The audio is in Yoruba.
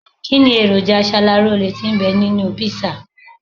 Kínni èròjà aṣaralóore tí ń bẹ nínú kpísà